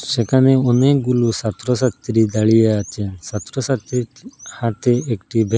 সেখানে অনেকগুলো ছাত্র ছাত্রী দাঁড়িয়ে আছে ছাত্র ছাত্রীর হাতে একটি ব্যা--